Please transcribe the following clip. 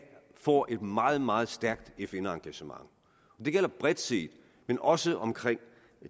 får et meget meget stærkt fn engagement det gælder bredt set men også omkring